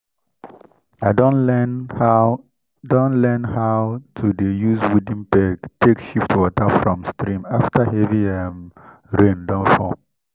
i don learn how don learn how to dey use wooden peg take shift water from stream after heavy um rain don fall